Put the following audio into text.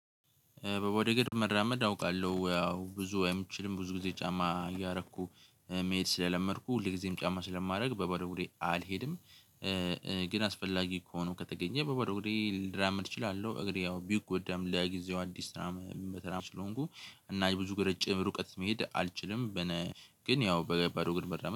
በባዶ እግር መራመድ አውቃለሁ ያው ብዙ የይመቸኝም ብዙ ጊዜ ጫማ እያረኩ መሄድ ስለለመድኩ ሁል ጊዜም ጫማ ስለማደርግ በባዶ እግሬ አልሄድም። ግን አስፈላጊ ከሆኖ ከተገኘ በባዶ ሆዴ ልራመድ እችላለሁ። እግሬ ያው ቢጎዳም ለጊዜው አዲስ ስራም ምሰራም ስለሆንኩ እና የብዙ ግርጭም ሩቀት መሄድ አልችልም። ግን ያው በባዶ እግር መራመድ